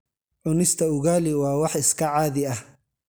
Cunista ugali waa wax iska caadi ah.